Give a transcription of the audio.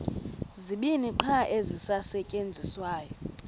zibini qha ezisasetyenziswayo